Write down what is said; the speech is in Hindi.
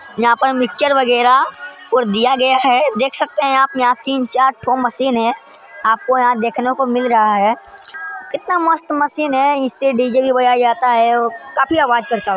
यहाँ पर मिक्चर वगेरा और दिया गया है देख सकते है आप यहां तीन चार ठो मशीने आपको यहां देखने को मिल रहा है कितना मस्त मशीने इससे डी_जे भी बजाया जाता है और काफी आवाज करता----